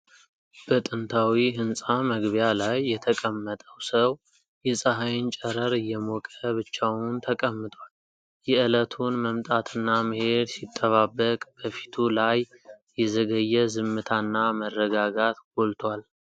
በጥንታዊ ሕንፃ መግቢያ ላይ የተቀመጠው ሰው የፀሐይን ጨረር እየሞቀ ብቻውን ተቀምጧል። የእለቱን መምጣትና መሄድ ሲጠባበቅ፣ በፊቱ ላይ የዘገየ ዝምታና መረጋጋት ጎልቶአል።